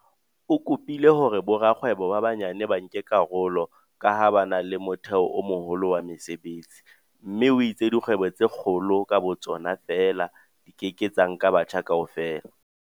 O kopile hore borakgwebo ba banyane ba nke karolo ka ha ba na le motheo o moholo wa mesebetsi mme o itse dikgwebo tse kgolo ka bo tsona feela di ke ke tsa nka batjha kaofela.